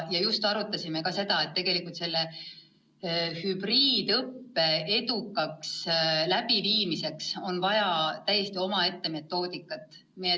Me arutasime ka seda, et hübriidõppe edukaks läbiviimiseks on vaja täiesti omaette metoodikat.